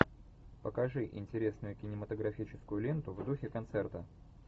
покажи интересную кинематографическую ленту в духе концерта